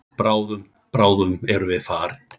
Bráðum, bráðum erum við farin.